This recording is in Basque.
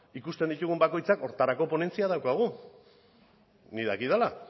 ikusten ditugun bakoitzak horretarako ponentzia daukagu nik dakidala